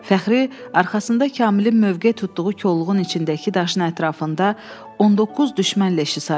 Fəxri arxasında Kamilin mövqe tutduğu kolluğun içindəki daşın ətrafında 19 düşmən leşi saydı.